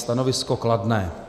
Stanovisko kladné.